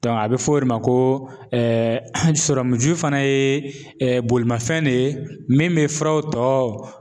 a bi f'o de ma ko ji fana ye bolimafɛn de ye min bi furaw tɔ